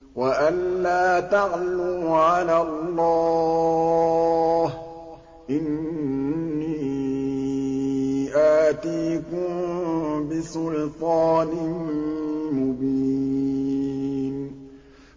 وَأَن لَّا تَعْلُوا عَلَى اللَّهِ ۖ إِنِّي آتِيكُم بِسُلْطَانٍ مُّبِينٍ